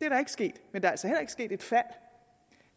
det er ikke sket men der er altså heller ikke sket et fald